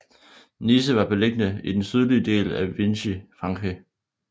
Nice var beliggende i den sydlige del af Vichy Frankrig